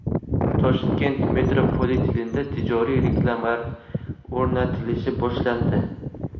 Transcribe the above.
Toshkent metropolitenida tijoriy reklamalar o‘rnatilishi boshlandi.